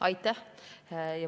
Aitäh!